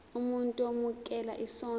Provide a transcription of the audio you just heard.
umuntu owemukela isondlo